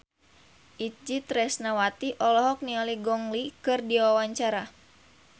Itje Tresnawati olohok ningali Gong Li keur diwawancara